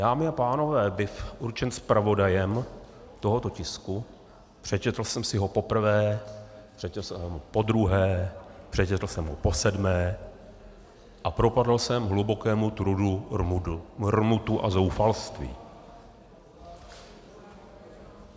Dámy a pánové, byv určen zpravodajem tohoto tisku, přečetl jsem si ho poprvé, přečetl jsem ho podruhé, přečetl jsem ho posedmé a propadl jsem hlubokému trudu, rmutu a zoufalství.